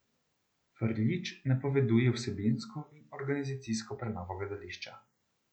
Frljić napoveduje vsebinsko in organizacijsko prenovo gledališča.